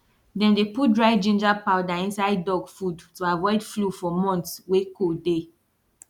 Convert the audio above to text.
dem dey put dry ginger powder inside duck food to avoid flu for months wey cold dey